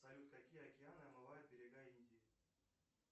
салют какие океаны омывают берега индии